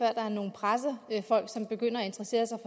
er nogle pressefolk som begynder at interessere sig